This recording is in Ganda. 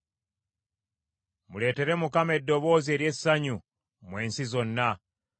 Muleetere Mukama eddoboozi ery’essanyu mmwe ensi zonna.